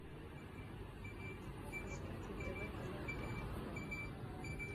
поставь на тв канал пятый канал